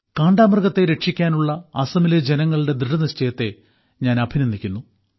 കാണ്ടാമൃഗത്തെ രക്ഷിക്കാനുള്ള അസമിലെ ജനങ്ങളുടെ ദൃഢനിശ്ചയത്തെ ഞാൻ അഭിനന്ദിക്കുന്നു